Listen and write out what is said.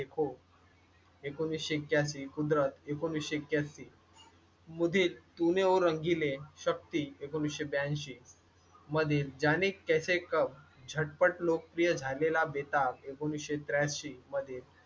ऐकोनिश्शे ऐक्यास्सि कुदरत, ऐकोनिसश्शे ऐक्यास्सि मधील तुम्ही ओ रंगीले शक्ती ऐकोनिसशे ब्यानशी मधील जाणे कैसे कब झटपट लोकप्रिय झालेला . ऐकोनिश्शे त्र्यांशी मध्ये